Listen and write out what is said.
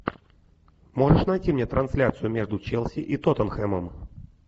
можешь найти мне трансляцию между челси и тоттенхэмом